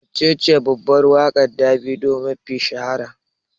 Waccece babbar waƙar Davido mafi shahara?